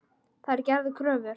Þær gerðu kröfur.